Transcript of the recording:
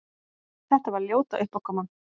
Þetta var ljóta uppákoman!